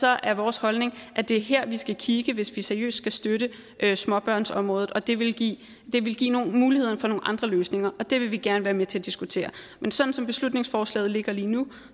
er vores holdning at det er her vi skal kigge hvis vi seriøst skal støtte småbørnsområdet og det vil give vil give muligheder for nogle andre løsninger og det vil vi gerne være med til at diskutere men sådan som beslutningsforslaget ligger lige nu